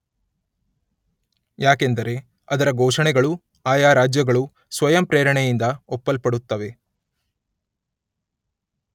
ಯಾಕೆಂದರೆ ಅದರ ಘೋಷಣೆಗಳು ಆಯಾ ರಾಜ್ಯಗಳು ಸ್ವಯಂ ಪ್ರೇರಣೆಯಿಂದ ಒಪ್ಪಲ್ಪಡುತ್ತವೆ.